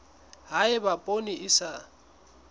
ha eba poone e sa